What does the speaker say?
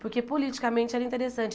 Porque, politicamente, era interessante.